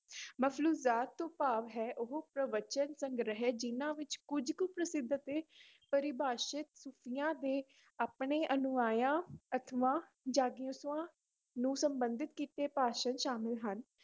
ਤੋਂ ਭਾਵ ਹੈ ਉਹ ਪ੍ਰਵਚਨ ਸੰਗ੍ਰਹਿ ਜਿੰਨਾਂ ਵਿੱਚ ਕੁੱਝ ਕੁ ਪ੍ਰਸਿੱਧ ਅਤੇ ਪਰਿਭਾਸ਼ਤ ਸੂਫ਼ੀਆਂ ਦੇ ਆਪਣੇ ਅਨੁਯਾਇਆਂ ਨੂੰ ਸੰਬੰਧਿਤ ਕੀਤੇ ਭਾਸ਼ਣ ਸ਼ਾਮਿਲ ਹਨ,